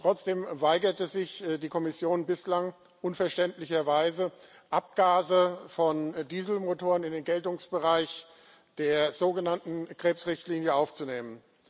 Trotzdem weigerte sich die Kommission bislang unverständlicherweise, Abgase von Dieselmotoren in den Geltungsbereich der sogenannten Krebsrichtlinie aufzunehmen.